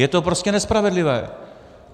Je to prostě nespravedlivé.